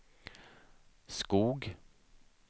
Skog